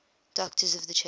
doctors of the church